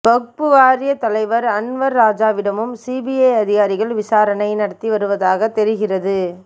வக்பு வாரிய தலைவர் அன்வர் ராஜாவிடமும் சிபிஐ அதிகாரிகள் விசாரணை நடத்தி வருவதாக தெரிகிறது